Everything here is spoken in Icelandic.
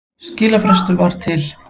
Skilafrestur var til